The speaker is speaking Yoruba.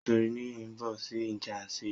Nítorí nìyí ńbo sí ìjànsírí?